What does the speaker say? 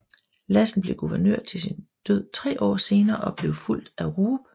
Lassen blev guvernør til sin død tre år senere og blev fulgt af Roop